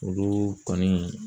Olu kɔni